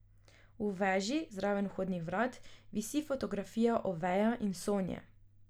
V veži, zraven vhodnih vrat, visi fotografija Oveja in Sonje.